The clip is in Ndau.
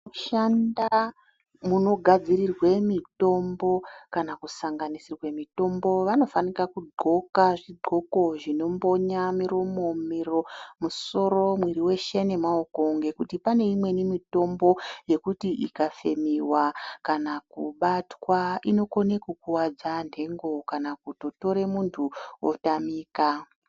Kushanda munogadzirirwe mitombo kana kusanganisirwa mitombo vanofana kudxoka zvidxoko zvinombonya miromo, musoro nemwiri weshe ngekuti pane imweni mitombo yekuti ikafemiwa kana kubatwa inokone kukuwadza nhengo kana kutotora muntu otamika.